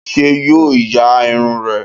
Ṣé yo ya irun rẹ?